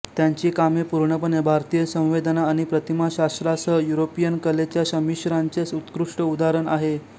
त्यांची कामे पूर्णपणे भारतीय संवेदना आणि प्रतिमाशास्त्रासह युरोपियन कलेच्या संमिश्रणाचे उत्कृष्ट उदाहरण आहेत